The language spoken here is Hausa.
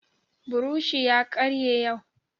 Buroshi ya karye yau